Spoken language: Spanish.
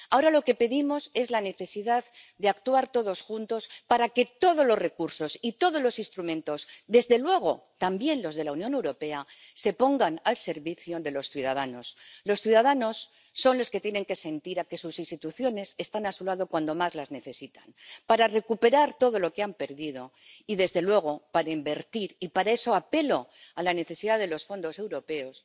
Ahora lo que pedimos es la necesidad de actuar todos juntos para que todos los recursos y todos los instrumentos, desde luego también los de la Unión Europea, se pongan al servicio de los ciudadanos. Los ciudadanos son los que tienen que sentir que sus instituciones están a su lado cuando más las necesitan, para recuperar todo lo que han perdido, y desde luego para invertir —y para eso apelo a la necesidad de los fondos europeos—